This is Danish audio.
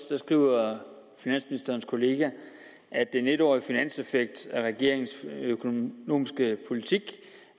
tres skriver finansministerens kollega at den en årige finanseffekt af regeringens økonomiske politik